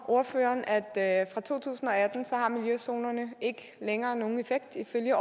ordføreren at fra to tusind og atten har miljøzonerne ikke længere nogen effekt ifølge